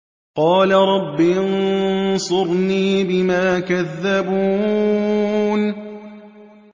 قَالَ رَبِّ انصُرْنِي بِمَا كَذَّبُونِ